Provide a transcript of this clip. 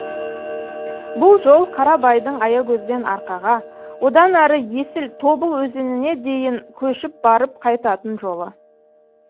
бұл жол қарабайдың аягөзден арқаға одан әрі есіл тобыл өзеніне дейін көшіп барып қайтатын жолы